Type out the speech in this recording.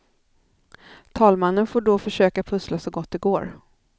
Talmannen får då försöka pussla så gott det går.